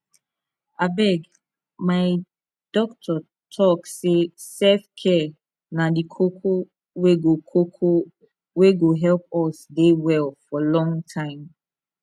abeg my doctor talk say selfcare na di koko wey go koko wey go help us dey well for long time